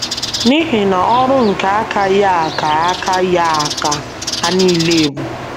N’ihi na ọrụ nke aka Ya ka aka Ya ka ha nile bụ. ’